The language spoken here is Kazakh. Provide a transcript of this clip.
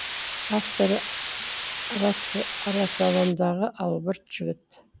авторы арасалаңдағы албырт жігіт